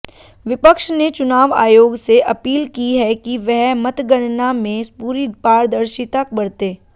विपक्ष ने चुनाव आयोग से अपील की है कि वह मतगणना में पूरी पारदर्शिता बरते